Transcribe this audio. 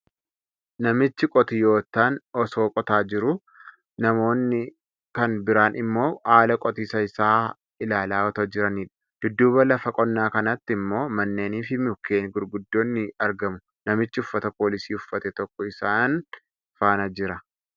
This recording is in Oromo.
Namichi qotiyyootaan osoo qotaa jiruu, namoonni kan biraan ammoo haala qotiisa isaa ilaala otoo jiraniidha. Dudduuba lafa qonnaa kanaatti ammoo manneeni fi mukkeen gurguddoon ni argamu. Namichi uffata poolisii uffate tokko isaan faana jira.